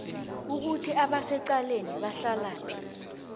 ukuthi abasecaleni bahlalaphi